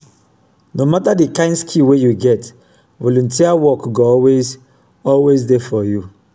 no mata di kain skill wey yu get volunteer wok go always always dey for yu.